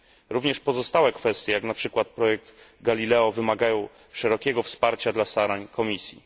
Również pozostałe kwestie, jak na przykład projekt Galileo, wymagają szerokiego wsparcia dla starań Komisji.